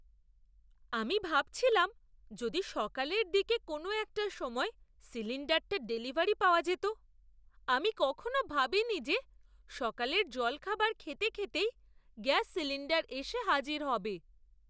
আমি ভাবছিলাম যদি সকালের দিকে কোনো একটা সময় সিলিণ্ডারটা ডেলিভারি পাওয়া যেত। আমি কখনো ভাবিনি যে সকালের জলখাবার খেতে খেতেই গ্যাস সিলিণ্ডার এসে হাজির হবে!